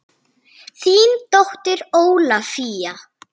Þín dóttir Ólafía.